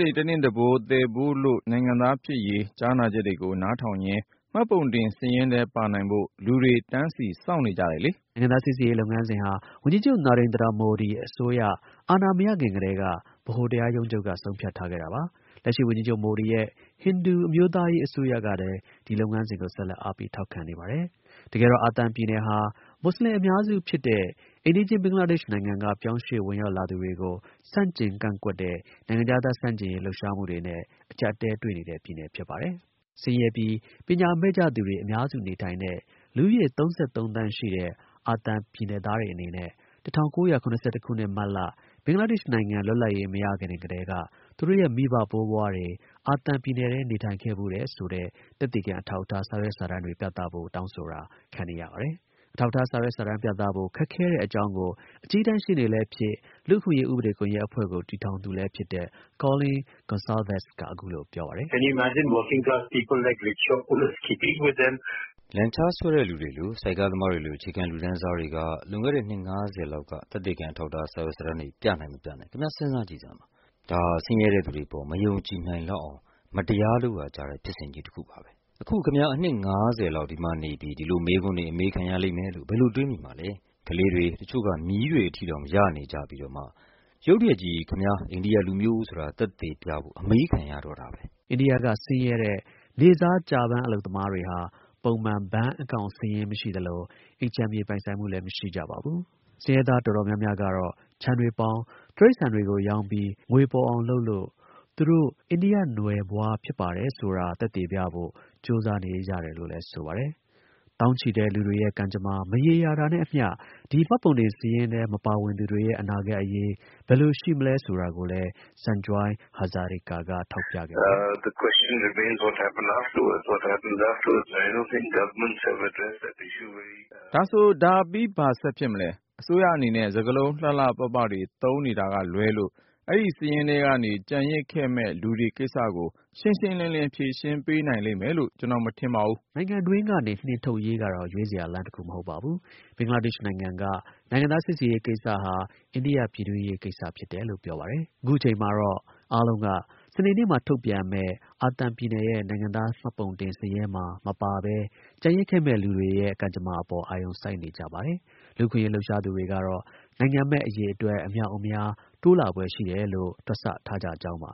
တွေ တနင့်တပိုး သယ်ပိုးလို့ နိုင်ငံသား ဖြစ်ရေး ကြားနာချက်တွေကို နားထောင်ရင်း မှတ်ပုံတင် စာရင်းထဲ ပါနိုင်ဖို့ လူတွေ တန်းစီ စောင့်နေကြတယ်လေ။” နိုင်ငံသား စိစစ်ရေး လုပ်ငန်းစဉ်ဟာ ဝန်ကြီးချုပ် Narendra Modi အစိုးရ အာဏာ မရခင်ကတည်းက ဗဟို တရားရုံးချုပ်က ဆုံးဖြတ်ထားခဲ့ တာပါ။ လက်ရှိဝန်ကြီးချုပ် Modi ရဲ့ ဟိန္ဒူ အမျိုးသားရေး အစိုးရကလည်း ဒီ လုပ်ငန်းစဉ်ကို ဆက်လက် အားပေး ထောက်ခံနေပါတယ်။ တကယ်တော့ အာသံပြည်နယ်ဟာ မူဆလင် အများစု ဖြစ်တဲ့ အိမ်နီးချင်း ဘင်္ဂလားဒေ့ရှ်နိုင်ငံက ရွှေ့ပြောင်း ဝင်ရောက်လာသူတွေကို ဆန့်ကျင် ကန့်ကွက်တဲ့ နိုင်ငံခြားသား ဆန့်ကျင်ရေး လှုပ်ရှားမှုတွေနဲ့ အကျပ်အတည်းတွေ့နေတဲ့ ပြည်နယ်ဖြစ်ပါတယ်။ ဆင်းရဲပြီး ပညာမဲ့ကြသူတွေ အများစု နေထိုင်တဲ့ လူဦးရေ ၃၃ သန်း ရှိတဲ့ အာသံပြည်နယ်သားတွေအနေနဲ့ ၁၉၇၁ ခုနှစ်၊ မတ်လ ဘင်္ဂလား ဒေ့ရှ်နိုင်ငံ လွတ်လပ်ရေး မရခင်ကတည်းက သူတို့ရဲ့ မိဘဘိုးဘွားတွေ အာသံပြည်နယ်ထဲ နေထိုင်ခဲ့ဖူးတယ်ဆိုတဲ့ သက်သေခံ အထောက် အထား စာရွက်စာတမ်းတွေ ပြသဖို့ တောင်းဆိုတာ ခံနေရပါတယ်။ အထောက်အထား စာရွက်စာတမ်းပြသဖို့ ခက်ခဲတဲ့ အကြောင်းကို အကြီးတန်း ရှေ့နေလည်းဖြစ် လူ့အခွင့်အရေး ဥပဒေ ကွန်ယက်အဖွဲ့ကို တည်ထောင်သူလည်းဖြစ်တဲ့ Colin Gonsalves က အခုလို ပြောပါတယ်။ “လန်ချား ဆွဲတဲ့လူတွေလို ဆိုက်ကားသမားတွေလို အခြေခံ လူတန်းစားတွေက လွန်ခဲ့တဲ့ နှစ် ၅၀ လောက်က သက်သေခံ အထောက်အထား စာရွက်စာတမ်းတွေ ပြနိုင် မပြနိုင် ခင်ဗျား စဉ်းစား ကြည့်စမ်းပါ။ ဒါဟာ ဆင်းရဲ့တဲ့သူတွေအပေါ် မယုံကြည်နိုင်လောက်အောင် မတရား လုပ်ရာ ကျတဲ့ ဖြစ်စဉ်ကြီး တစ်ခုပါပဲ။ အခု ခင်ဗျား အနှစ် ၅၀ လောက် ဒီမှာနေပြီး ဒီလို မေးခွန်းတွေ အမေးခံရလိမ့်မယ်လို့ ဘယ်လို တွေးမိမှာလဲ။ ကလေးတွေ၊ တစ်ချို့က မြေးတွေ အထိတောင်ရနေပြီးတော့မှ ရုတ်တရက်ကြီး ခင်ဗျား အိန္ဒိယ လူမျိုး ဆိုတာ သက်သေပြဖို့ အမေးခံရတော့တာပဲ။” အိန္ဒိယက ဆင်းရဲတဲ့ နေ့စား ကျပမ်း အလုပ်သမားတွေဟာ ပုံမှန် ဘဏ် အကောင့်စာရင်း မရှိသလို အိမ်ခြံမြေ ပိုင်ဆိုင်မှုလည်း မရှိကြ ပါဘူး။ ဆင်းရဲသား တော်တော်များများကတော့ ခြံတွေပေါင်၊ တိရိစ္ဆာန်တွေ ရောင်းပြီး ငွေပေါ်အောင်လုပ်ပြီး သူတို့ အိန္ဒိယနွယ်ဖွားပါဆိုတာ သက်သေပြဖို့ ကြိုးစားကြတယ်လို့လည်း ဆိုပါတယ်။ သောင်းချီတဲ့ လူတွေရဲ့ ကံကြမ္မာ မရေရာတာနဲ့အမျှ ဒီ မှတ်ပုံတင်စာရင်းထဲ မပါဝင်သူတွေရဲ့ အနာဂတ်အရေး ဘယ်လိုရှိမလဲဆိုတာကိုလည်း Sanjoy Hazarika က ထောက်ပြခဲ့ပါတယ်။ “ဒါဆို… ဒါပြီး ဘာဆက်ဖြစ်မလဲ။ အစိုးရ အနေနဲ့ စကားလုံး လှလှပပတွေ သုံးနေတာက လွဲလို့ အဲဒီ စာရင်းထဲကနေ ကျန်ရစ်ခဲ့မယ့် လူတွေကိစ္စကို ရှင်းရှင်းလင်းလင်း ဖြေရှင်းပေးနိုင်လိမ့်မယ်လို့ ကျွန်တော် မထင်ဘူး။” နိုင်ငံတွင်းကနေ နှင်ထုတ်ရေးကတော့ ရွေးစရာ လမ်းတစ်မဟုတ်ပါ။ ဘင်္ဂလားဒေ့ရှ်နို်င်ငံက နိုင်ငံသား စိစစ်ရေးကိစ္စက အိန္ဒိယ ပြည်တွင်းရေးလို့ ပြောပါတယ်။ အခုအချိန်မှာတော့ အားလုံးက စနေနေ့မှာ ထုတ်ပြန်မယ့် အာသံပြည်နယ်ရဲ့ နိုင်ငံသား မှတ်ပုံတင် စာရင်းထဲမှာ မပါဘဲ ကျန်ရစ်ခဲ့မယ့် လူတွေ အပေါ် အာရုံ စိုက်နေကြပါတယ်။ လူ့အခွင့်အရေး လှုပ်ရှားသူတွေကတော့ နိုင်ငံမဲ့ အရေအတွက် အမြောက်အမြား တိုးလာဖွယ် ရှိတယ်လို့ တွက်ဆထားကြကြောင်းပါ